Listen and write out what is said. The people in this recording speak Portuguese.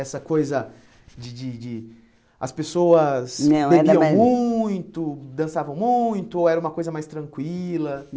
Essa coisa de de de... As pessoas não era mais bebiam muito, dançavam muito, ou era uma coisa mais tranquila?